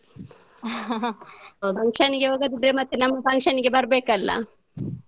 function ಗೆ ಹೋಗದಿದ್ರೆ ಮತ್ತೆ ನಮ್ಮ function ಗೆ ಬರ್ಬೇಕಲ್ಲ.